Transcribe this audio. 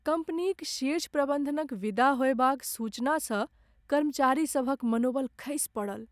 कम्पनीक शीर्ष प्रबन्धनक विदा होयबाक सूचनासँ कर्मचारीसभक मनोबल खसि पड़ल।